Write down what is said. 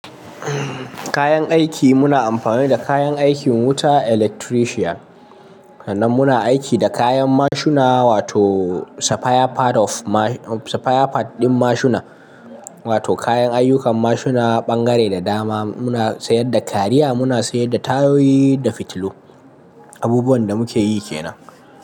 Kayan aiki muna amfani da kayan aikin wuta, electrician. Sannan muna aiki da kayan mashina wato sapphire part of ma-- sapphire part ɗin mashina wato kayan ayyukan mashina, ɓangare da dama. Muna sayar da kariya, muna sayar da tayoyi da fitilu. Abubuwan da muke yi kenan.